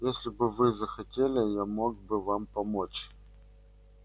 если бы вы захотели я мог бы помочь вам